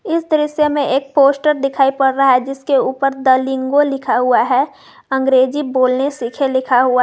इस दृश्य में एक पोस्टर दिखाई पड़ रहा है जिसके ऊपर द लिंगो लिखा हुआ है अंग्रेजी बोलने सीखें लिखा हुआ--